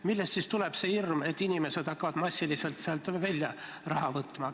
Millest siis tuleb see hirm, et inimesed hakkavad massiliselt sealt raha välja võtma?